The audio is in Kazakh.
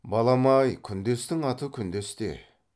балам ай күндестің аты күндес те